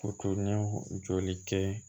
O tun ye jɔli kɛ